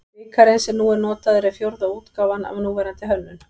Bikarinn sem nú er notaður er fjórða útgáfan af núverandi hönnun.